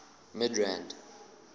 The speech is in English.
midrand